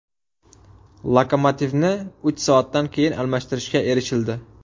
Lokomotivni uch soatdan keyin almashtirishga erishildi.